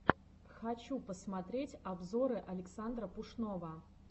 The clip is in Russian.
хочу посмотреть обзоры александра пушного